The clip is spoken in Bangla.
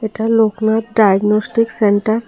এটা লোকনাথ ডায়গনস্টিক সেন্টার ।